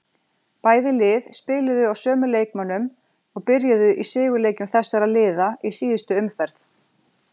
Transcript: Bæði lið spiluðu á sömu leikmönnum og byrjuðu í sigurleikjum þessara liða í síðustu umferð.